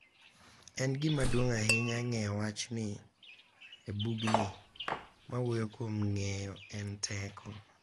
En gima duong’ ahinya ng’eyo wachni e bugni ma wuoyo kuom ng’eyo en teko.